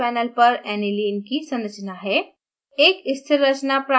अब हमारे पास panel पर anilineकी संरचना है